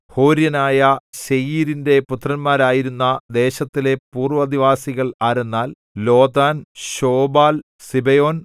ഹോര്യനായ സേയീരിന്റെ പുത്രന്മാരായിരുന്ന ദേശത്തിലെ പൂർവ്വനിവാസികൾ ആരെന്നാൽ ലോതാൻ ശോബാൽ സിബെയോൻ